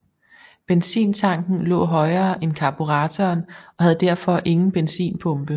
Benzintanken lå højere end karburatoren og havde derfor ingen benzinpumpe